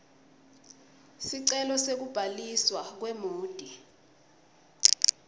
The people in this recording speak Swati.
sicelo sekubhaliswa kwemoti